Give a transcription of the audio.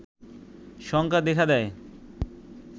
শঙ্কা দেখা দেয়